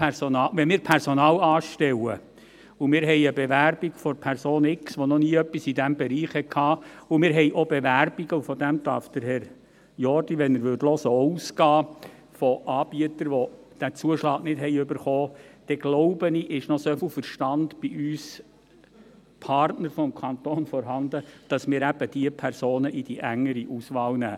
Wenn wir Personal anstellen und eine Bewerbung der Person X haben, die noch nie etwas in diesem Bereich gemacht hat, aber auch Bewerbungen – und davon darf Herr Jordi, wenn er zuhören würde, auch ausgehen – von Anbietern, die den Zuschlag nicht erhalten haben, dann, glaube ich, ist noch so viel Verstand bei uns Partnern des Kantons vorhanden, dass wir diese Personen in die engere Auswahl nehmen.